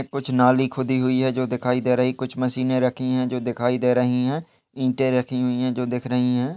कुछ नाली खुदी हुई है जो दिखाई दे रही कुछ मशीनें रखी है जो दिखाई दे रही हैं ईंटें रखी हुई हैं जो दिख रही हैं।